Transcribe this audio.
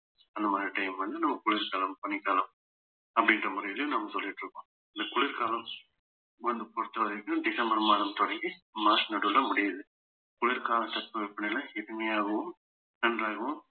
அந்த மாதிரியான time வந்து நம்ம குளிர்காலம் பனிக்காலம் அப்படின்ற முறையில நாம சொல்லிட்டு இருக்கோம் இந்த குளிர்காலம் வந்து பொறுத்தவரைக்கும் டிசம்பர் மாதம் தொடங்கி மார்ச் நடுவுல முடியுது குளிர்கால தட்பவெப்பநிலை இனிமையாகவும் நன்றாகவும்